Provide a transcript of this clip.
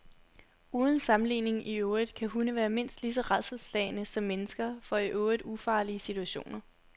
Uden sammenligning i øvrigt kan hunde være mindst lige så rædselsslagne som mennesker for i øvrigt ufarlige situationer.